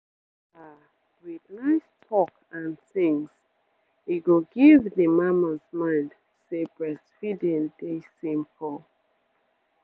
ah with nice talk and tins e go give d mamas mind say breastfeeding dey simple